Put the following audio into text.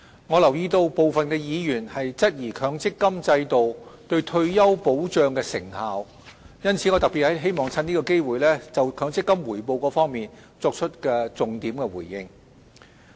我留意到部分議員質疑強積金制度對退休保障的成效，因此我特別希望藉此機會就強積金的回報作重點回應。